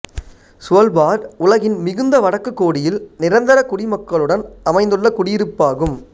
Svalbard உலகின் மிகுந்த வடக்குக் கோடியில் நிரந்தர குடிமக்களுடன் அமைந்துள்ள குடியிருப்பாகும்